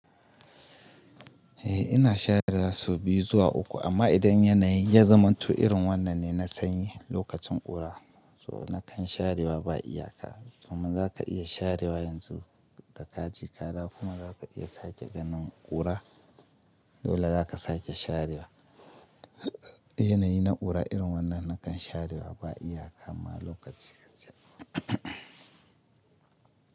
Eh ina sharewa sau biyu zuwa uku amma idan yanayi ya zama tu irin wannan ne na sanyi lokacin ƙura so na kan sharewa ba iyaka. Kuma zaka iya sharewa yanzu da ka je ka dawo kuma zaka iya sake ganin ƙura dole zaka sake sharewa. Yanayi na ƙura irin wannan na kan sharewa ba iyaka ma lokaci-lokaci.